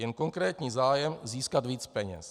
Jen konkrétní zájem získat víc peněz.